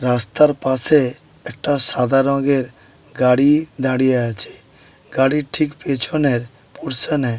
রাস্তার পাশে একটা সাদা রংয়ের গাড়ি দাঁড়িয়ে আছে। গাড়ির ঠিক পেছনের পোর্শনে --